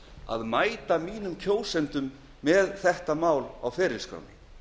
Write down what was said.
að mæta kjósendum mínum með þetta mál í ferilskránni